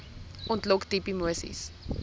ontlok diep emoseis